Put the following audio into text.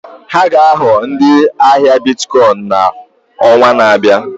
Ha ga-aghọ ndị ahịa Biticoin n'ọnwa na-abịa.